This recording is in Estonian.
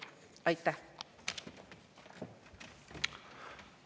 Aitäh!